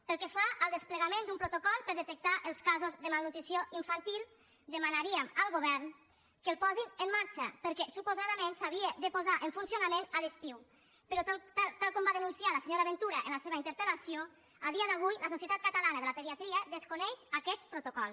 pel que fa al desplegament d’un protocol per detectar els casos de malnutrició infantil demanaríem al govern que el posin en marxa perquè suposadament s’havia de posar en funcionament a l’estiu però tal com va denunciar la senyora ventura en la seva interpel·lació a dia d’avui la societat catalana de la pediatria desconeix aquest protocol